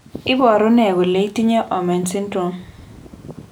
Iporu ne kole itinye Omenn syndrome